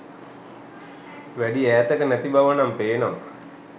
වැඩි ඈතක නැති බවනම් පේනවා